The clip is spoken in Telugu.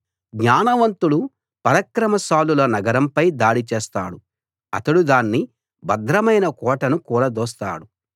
జ్ఞానవంతుడు పరాక్రమశాలుల నగరం పై దాడి చేస్తాడు అతడు దాని భద్రమైన కోటను కూలదోస్తాడు